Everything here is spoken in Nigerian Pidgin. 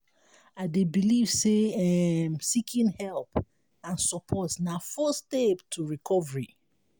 i dey believe say um seeking help and support na first step to recovery.